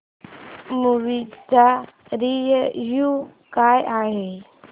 movie चा review काय आहे